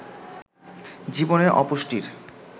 জীবনে অপুষ্টির